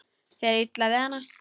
Er þér illa við hana?